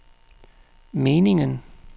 meningen